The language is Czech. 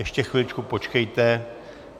Ještě chviličku počkejte.